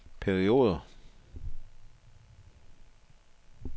perioder